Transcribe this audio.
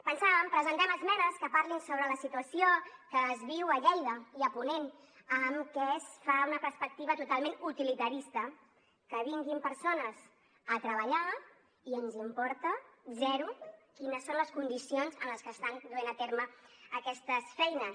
pensàvem presentem esmenes que parlin sobre la situació que es viu a lleida i a ponent amb què es fa una perspectiva totalment utilitarista que vinguin persones a treballar i ens importa zero quines són les condicions en les que estan duent a terme aquestes feines